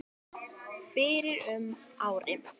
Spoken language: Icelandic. fyrir um ári.